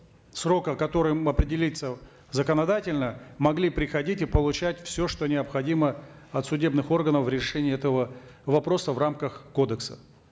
срока который определится законодательно могли приходить и получать все что необходимо от судебных органов в решении этого вопроса в рамках кодекса